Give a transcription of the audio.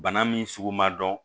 Bana min sugu ma dɔn